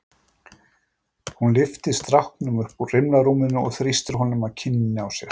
Hún lyfti stráknum upp úr rimlarúminu og þrýsti honum að kinninni á sér.